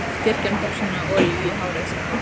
Kirkjan þarf sína olíu í hárið, sagði Ari.